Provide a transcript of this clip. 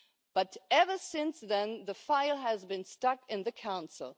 But ever since then, the file has been stuck in the Council.